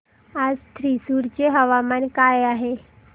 आज थ्रिसुर चे हवामान काय आहे